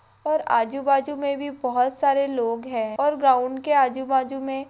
और आजु बाजु में भी बहुत सारे लोग है और ग्राउंड के आजु बाजु में--